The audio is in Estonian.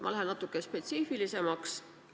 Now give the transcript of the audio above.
Ma lähen natuke spetsiifilisemaks.